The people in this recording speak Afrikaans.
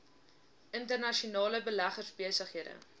internasionale beleggers besighede